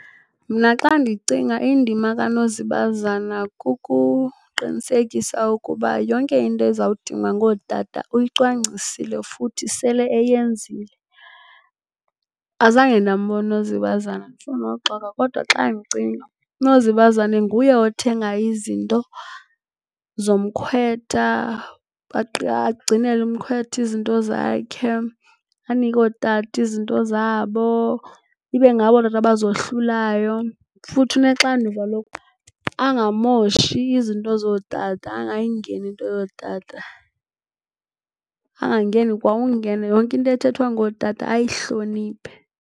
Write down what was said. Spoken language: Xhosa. Mna xa ndiyicinga indima kanozibazana kukuqinisekisa ukuba yonke into eza kudingwa ngootata uyicwangcisile futhi sele eyenzile. Azange ndambona unozibazana, andifuni nokuxoka. Kodwa xa ndicinga unozibazane nguye othenga izinto zomkhwetha agcinele umkhwetha izinto zakhe, anike ootata izinto zabo, ibe ngabo ootata abazohlulayo futhi unexanduva lokuba angamoshi izinto zootata, angayingeni into yootata. Angangeni kwa ukungena, yonke into ethethwa ngootata ayihloniphe.